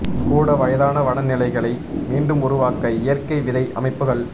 கூட வயதான வன நிலைகளை மீண்டும் உருவாக்க இயற்கை விதை அமைப்புகள்